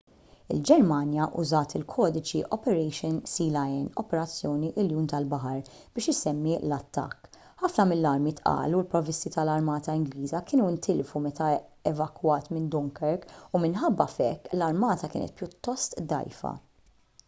il-ġermanja użat il-kodiċi operation sealion” operazzjoni iljun tal-baħar biex isemmi l-attakk. ħafna mill-armi tqal u l-provvisti tal-armata ingliża kienu ntilfu meta evakwat minn dunkirk u minħabba f’hekk l-armata kienet pjuttost dgħajfa